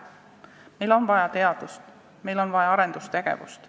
Meil on vaja teadust, meil on vaja arendustegevust.